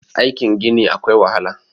aikin Gini akwai wahala